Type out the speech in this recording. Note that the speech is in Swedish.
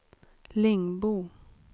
Lingbo